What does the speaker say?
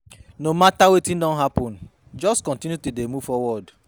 No mata wetin don hapun jus kontinu to dey move forward